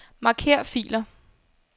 Marker filer.